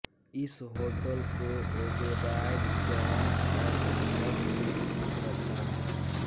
इस होटल को Oberoi chain of hotels ने खरीद रखा है